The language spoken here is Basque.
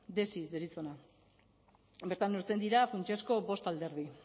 desi deritzona bertan neurtzen dira funtsezko bost alderdi